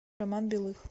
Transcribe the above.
роман белых